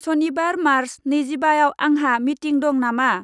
सनिबार मार्च नैजिबाआव आंहा मिंटिं दं नामा?